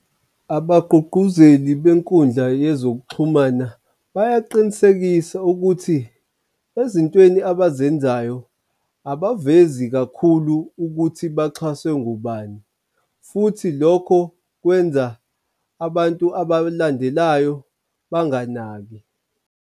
Abagqugquzeli benkundla yezokuxhumana bayaqinisekisa ukuthi ezintweni abazenzayo abavezi kakhulu ukuthi baxhaswe ngubani futhi lokho kwenza abantu abalandelayo banganaki.